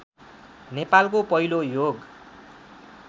नेपालको पहिलो योग